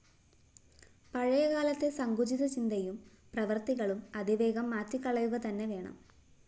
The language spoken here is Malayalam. പഴയകാലത്തെ സങ്കുചിത ചിന്തയും പ്രവൃത്തികളും അതിവേഗം മാറ്റിക്കളയുകതന്നെ വേണം